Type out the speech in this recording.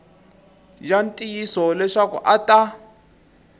ya ntiyiso leswaku a ta